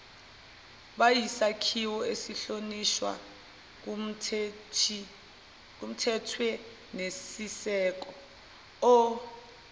buyisakhiwo esihlonishwayo kumthethwenisisekelo